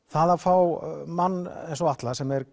það að fá mann eins og Atla sem er